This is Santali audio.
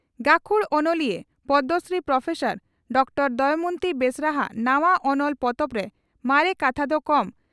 ᱜᱟᱹᱠᱷᱩᱲ ᱚᱱᱚᱞᱤᱭᱟᱹ ᱯᱚᱫᱽᱢᱚᱥᱨᱤ ᱯᱨᱚᱯᱷᱮᱥᱚᱨ ᱰᱚᱠᱴᱚᱨ ᱫᱚᱢᱚᱭᱚᱱᱛᱤ ᱵᱮᱥᱨᱟ ᱦᱟᱜ ᱱᱟᱣᱟ ᱚᱱᱚᱞ ᱯᱚᱛᱚᱵ ᱨᱮ ᱢᱟᱨᱮ ᱠᱟᱛᱷᱟ ᱫᱚ ᱠᱚᱢ